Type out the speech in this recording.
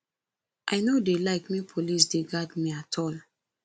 i no dey like make police dey guard me at all